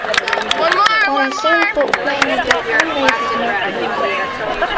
Poroshenko Ukrainaga qanday xizmat qildi?